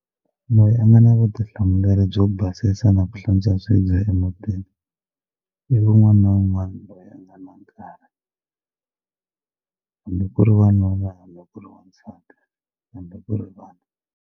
Loyi a nga na vutihlamuleri byo basisa na ku hlantswa swibye emutini i wun'wana na wun'wana loyi a nga na nkarhi hambi ku ri wanuna hambi ku ri wansati hambi ku ri vana.